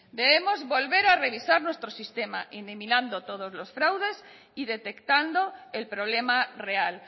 debemos volver a revisar nuestro sistema eliminando todos los fraudes y detectando el problema real